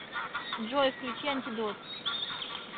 джой включи антидот